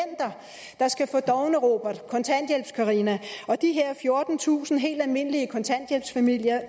der skal få dovne robert kontanthjælpscarina og de her fjortentusind helt almindelige kontanthjælpsfamilier